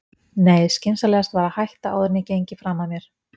Nei, skynsamlegast var að hætta áður en ég gengi fram af mér.